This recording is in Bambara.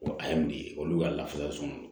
Ko a ye mun de ye olu ka lafiya sɔrɔ